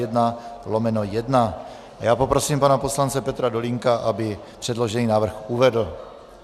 Já poprosím pana poslance Petra Dolínka, aby předložený návrh uvedl.